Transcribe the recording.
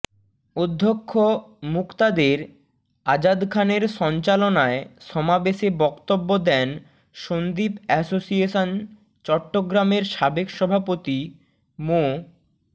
অধ্যক্ষ মুকতাদের আজাদ খানের সঞ্চালনায় সমাবেশে বক্তব্য দেন সন্দ্বীপ অ্যাসোসিয়েশন চট্টগ্রামের সাবেক সভাপতি মো